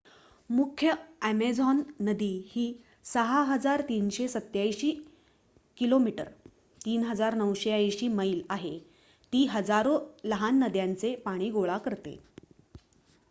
मुख्य अॅमेझॉन नदी ही ६,३८७ किमी ३,९८० मैल आहे. ती हजारो लहान नद्यांचे पाणी गोळा करते